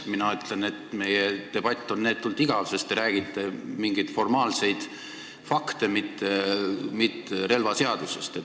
Mina ütlen, et meie debatt on neetult igav, sest te esitate mingeid formaalseid fakte, mitte ei räägi relvaseadusest.